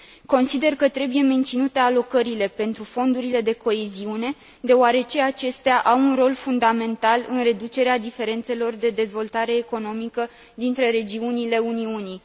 Consider că trebuie menținute alocările pentru fondurile de coeziune, deoarece acestea au un rol fundamental în reducerea diferențelor de dezvoltare economică dintre regiunile Uniunii.